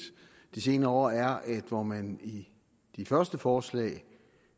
de senere år er at hvor man i de første forslag